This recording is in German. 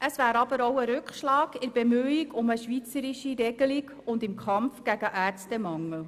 Es wäre aber auch ein Rückschlag in der Bemühung um eine schweizerische Regelung und im Kampf gegen den Ärztemangel.